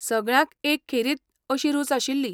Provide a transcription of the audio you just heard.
सगळ्यांक एक खेरीत अशी रूच आशिल्ली.